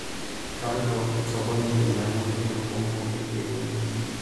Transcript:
Kaloito sokoni ainyang'u elukunku e kienyeji.